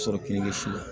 sɔrɔ kini kɛ si la